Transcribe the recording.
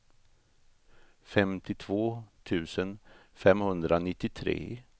femtiotvå tusen femhundranittiotre